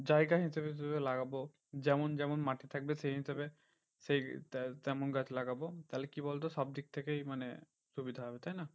জায়গা হিসাবে হিসেবে লাগাবো। যেমন যেমন মাটি থাকবে সেই হিসেবে সেই তে~তেমন গাছ লাগাবো। তাহলে কি বলতো সব থেকেই মানে সুবিধা হবে, তাইনা